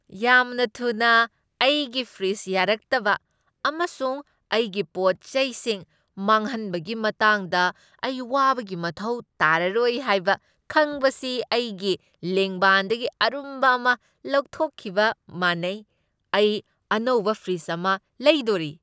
ꯌꯥꯝꯅ ꯊꯨꯅ ꯑꯩꯒꯤ ꯐ꯭ꯔꯤꯖ ꯌꯥꯔꯛꯇꯕ ꯑꯃꯁꯨꯡ ꯑꯩꯒꯤ ꯄꯣꯠ ꯆꯩꯁꯤꯡ ꯃꯥꯡꯍꯟꯕꯒꯤ ꯃꯇꯥꯡꯗ ꯑꯩ ꯋꯥꯕꯒꯤ ꯃꯊꯧ ꯇꯥꯔꯔꯣꯏ ꯍꯥꯏꯕ ꯈꯪꯕꯁꯤ ꯑꯩꯒꯤ ꯂꯦꯡꯕꯥꯟꯗꯒꯤ ꯑꯔꯨꯝꯕ ꯑꯃ ꯂꯧꯊꯣꯛꯈꯤꯕ ꯃꯥꯟꯅꯩ꯫ ꯑꯩ ꯑꯅꯧꯕ ꯐ꯭ꯔꯤꯖ ꯑꯃ ꯂꯩꯗꯣꯔꯤ꯫